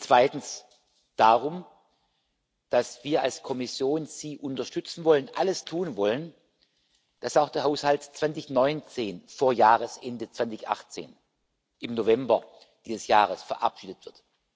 Zweitens geht es darum, dass wir als Kommission Sie unterstützen wollen, alles tun wollen, dass auch der Haushalt 2019 vor Jahresende 2018, im November dieses Jahres, verabschiedet wird.